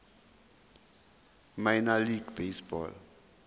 minor league baseball